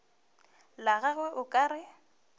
la gagwe o ka re